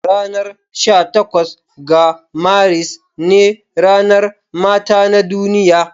Ranar sha takwas ga Maris ne ranar mata na duniya.